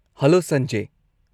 -Hello, Sanjay.